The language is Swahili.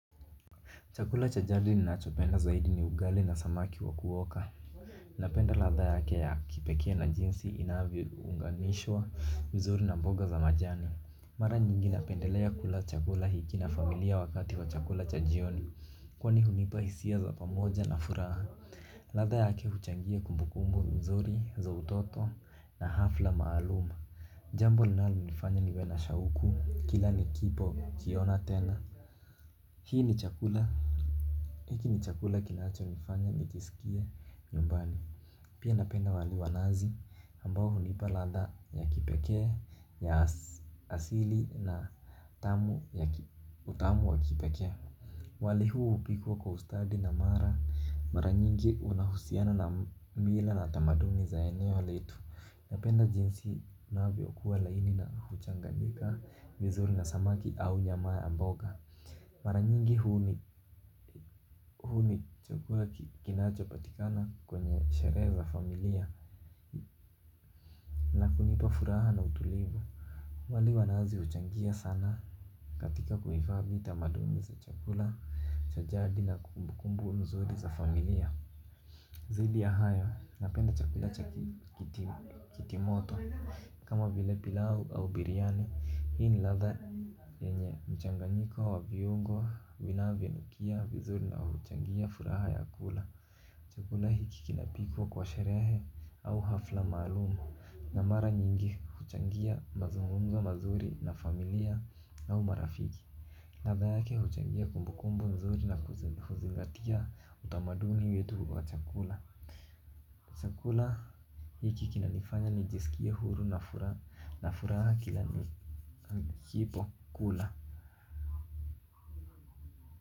Chakula cha jadi ninachopenda zaidi ni ugali na samaki wa kuoka. Napenda ladha yake ya kipekee na jinsi inavyounganishwa vizuri na mboga za majani. Mara nyingi napendelea kula chakula hiki na familia wakati wa chakula cha jioni. Kwani hunipa hisia za pamoja na furaha. Ladha yake huchangia kumbukumbu mzuri za utoto na hafla maaluma. Jambo linalonifanya niwe na shauku kila nikipo kiona tena. Hii ni chakula. Hiki ni chakula kinachonifanya nijisikie nyumbani. Pia napenda wali wa nazi ambao hunipa ladha ya kipekee ya asili na utamu wa kipekee. Wali huu hupikwa kwa ustadi na mara nyingi unahusiana na mila na tamaduni za eneo letu. Napenda jinsi navyokuwa laini na huchanganyika vizuri na samaki au nyama ya mboga. Mara nyingi huu ni chakula kinachopatikana kwenye sherehe za familia. Na hunipa furaha na utulivu. Wali wa nazi huchangia sana. Katika kuhifadhi tamaduni za chakula cha jadi na kumbukumbu nzuri za familia. Dhidi ya hayo, napenda chakula cha kitimoto. Kama vile pilau au biryani, hii ni ladha yenye mchanganyiko wa viungo vinavyonukia vizuri na huchangia furaha ya kula. Chakula hiki kinapikwa kwa sherehe au hafla maalumu na mara nyingi huchangia mazungumzo mazuri na familia au marafiki. Ladha yake huchangia kumbukumbu nzuri na huzingatia utamaduni wetu wa chakula. Chakula hiki kinanifanya nijisikie huru na furaha kila nikipo kula Muzika.